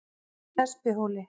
Espihóli